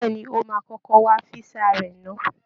Bẹ́ẹ̀ ni, ó máa kọ́kọ́ wá físà rẹ̀ ná